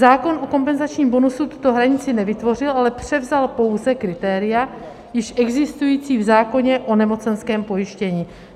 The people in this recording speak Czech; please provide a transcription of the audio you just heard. Zákon o kompenzačním bonusu tuto hranici nevytvořil, ale převzal pouze kritéria již existující v zákoně o nemocenském pojištění.